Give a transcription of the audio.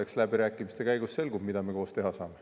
Eks läbirääkimiste käigus selgub, mida me koos teha saame.